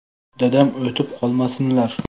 Dadam o‘tib qolmasinlar.